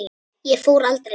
Ég fór aldrei neitt.